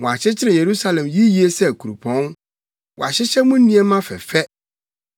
Wɔakyekyere Yerusalem yiye sɛ kuropɔn wahyehyɛ mu nneɛma fɛfɛ.